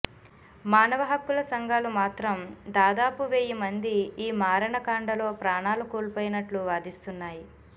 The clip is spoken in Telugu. మానవ హక్కుల సంఘాలు మాత్రం దాదాపు వెయ్యి మంది ఈ మారణకాండలో ప్రాణాలు కోల్పోయినట్లు వాదిస్తున్నాయి